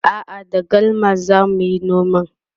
a'a da galma zamuyi noman